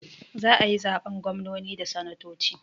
Za ayi zaɓen gwamnoni da sanatoci